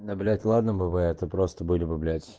да блять ладно бывает а просто были бы блять